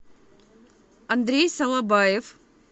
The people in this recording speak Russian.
андрей салабаев